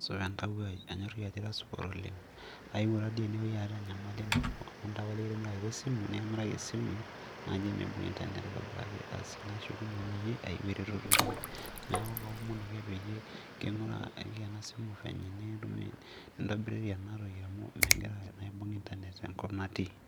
supa entawuo ai, anyoriki ajo ira supat oleng. ayewuo tadii ene wueji aata enyamali nabo, ayewuo ene nikimiraki esimu naijo miibung' internet aitobiraki, asi ayewuo naaji aing'oru eretoto inyi, neeku kaomon ake naaji peyie king'uraa ena simu fenye nintobiriri ena toki amu megira aibung' internet te nkop natii.